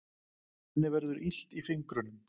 Henni verður illt í fingrunum.